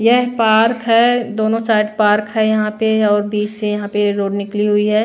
यह पार्क है दोनों साइड पार्क है यहां पे और बीच से यहां पे रोड निकली हुई है।